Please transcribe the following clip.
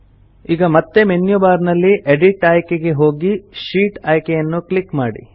ಈಗ ಮತ್ತೆ menu bar ನಲ್ಲಿ ಎಡಿಟ್ ಆಯ್ಕೆಗೆ ಹೋಗಿ ಶೀಟ್ ಆಯ್ಕೆಯನ್ನು ಕ್ಲಿಕ್ ಮಾಡಿ